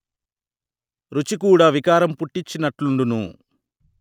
రుచి కూడా వికారం పుట్టిచ్చినట్లుండును